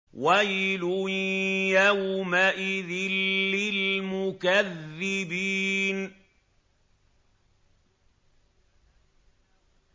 وَيْلٌ يَوْمَئِذٍ لِّلْمُكَذِّبِينَ